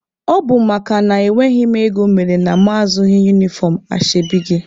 Ọ bụ makana enweghị m ego mere na mụ azụghị unifọm ashebi gị.